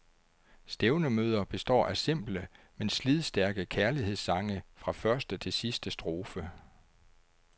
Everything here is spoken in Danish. Stævnemøder består af simple, men slidstærke kærlighedssange fra første til sidste strofe.